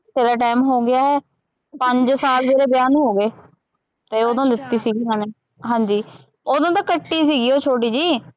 ਬਥੇਰਾ time ਹੋ ਗਿਆ ਹੈ, ਪੰਜ ਸਾਲ ਮੇਰੇ ਵਿਆਹ ਨੂੰ ਹੋ ਗਏ, ਅਤੇ ਉਦੋਂ ਲਿੱਤੀ ਸੀਗੀ ਇਹਨਾ ਨੇ, ਹਾਂਜੀ, ਉਦੋਂ ਤਾਂ ਕੱਟੀ ਸੀਗੀ ਉਹ ਛੋਟੀ ਜਿਹੀ